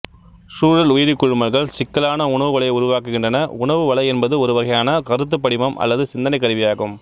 சூழல் உயிரிக் குழுமல்கள் சிக்கலான உணவு வலையை உருவாக்குகின்றன உணவு வலை என்பது ஒருவகையான கருத்துப்படிமம் அல்லது சிந்தனைக் கருவியாகும்